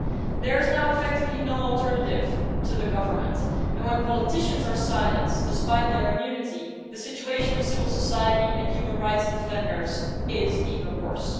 There is now effectively no alternative to the government, and when politicians are silenced, despite their immunity, the situation of civil society and human rights defenders is even worse.